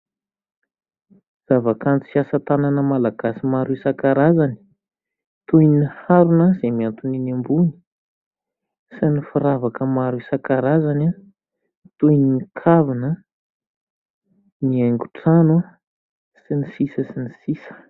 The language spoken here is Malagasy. Zavakanto sy asa tanana malagasy isan-karazany toy ny harona izay mihantona eny ambony sy ny firavaka maro isan-karazany toy ny kavina, ny haingon-trano sy ny sisa sy ny sisa.